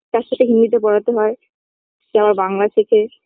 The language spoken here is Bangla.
তার সঙ্গে হিন্দিতে পড়াতে হয় সে আবার বাংলা শেখে